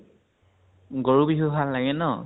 গৰু বিহু ভাল লাগে ন ?